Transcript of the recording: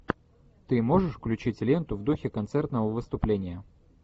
ты можешь включить ленту в духе концертного выступления